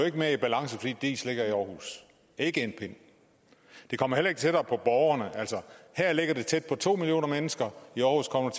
ikke mere i balance fordi diis ligger i aarhus ikke en pind det kommer heller ikke tættere på borgerne her ligger det tæt på to millioner mennesker i aarhus kommer